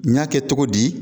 N y'a kɛ cogo di